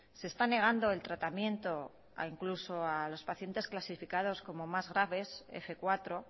se está negando el tratamiento incluso a los pacientes clasificados como más graves f cuatro